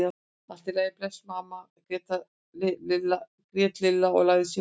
Allt í lagi þá, bless amma grét Lilla og lagði símann á.